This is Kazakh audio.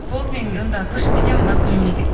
болды мен онда көшіп кетемін басқа мемлекетке